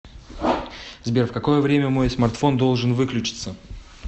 сбер в какое время мой смартфон должен выключиться